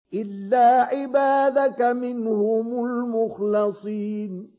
إِلَّا عِبَادَكَ مِنْهُمُ الْمُخْلَصِينَ